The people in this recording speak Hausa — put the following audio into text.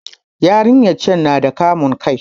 Yarinyar can na da kamun kai